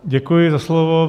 Děkuji za slovo.